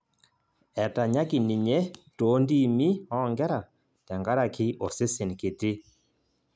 Etanyaki ninye too ntiimi oonkera tenkaraki osesen kiti